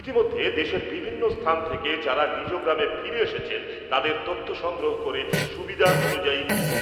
ইতিমধ্যে, দেশের বিভিন্ন স্থান থেকে যারা নিজ গ্রামে ফিরে এসেছেন তাদের তথ্য সংগ্রহ করে সুবিধা অনুযায়ী